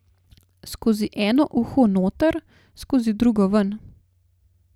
Skozi eno uho noter, skozi drugo ven.